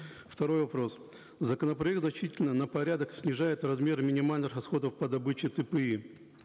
второй вопрос законопроект значительно на порядок снижает размеры минимальных расходов по добыче тпи